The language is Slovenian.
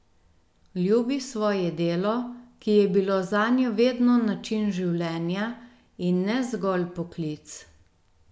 Ljubi svoje delo, ki je bilo zanjo vedno način življenja, in ne zgolj poklic.